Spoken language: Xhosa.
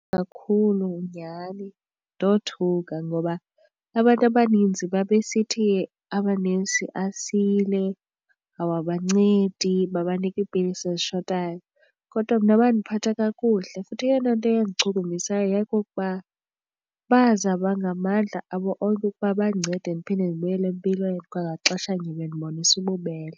Kakhulu nyhani ndothuka ngoba abantu abaninzi babesithi amanesi asile awabancedi, babanika iipilisi ezishotayo, kodwa mna bandiphatha kakuhle futhi eyona nto eyandichukumisayo yayikukuba bazama ngamandla abo onke ukuba bandincede ndiphinde ndibuyele empilweni kwangaxeshanye bendibonisa ububele.